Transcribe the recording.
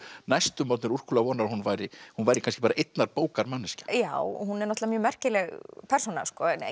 næstum orðnir úrkula vonar um að hún væri hún væri kannski bara einnar bókar manneskja já og hún er náttúrulega merkileg persóna